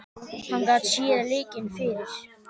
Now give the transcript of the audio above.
Hann gat séð leikinn fyrir.